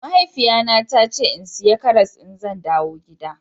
Mahaifiya na ta ce in siya karas in zan dawo gida.